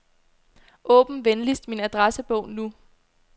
Åbn venligst min adressebog nu.